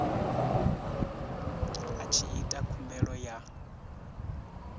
a tshi ita khumbelo ya